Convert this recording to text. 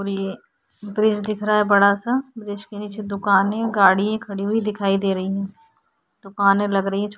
और ये ब्रिज दिख रहा है बड़ा सा ब्रिज के नीचे दुकाने गाड़ी खड़ी हुई दिखाई दे रही है। दुकाने लग रही है छोटी--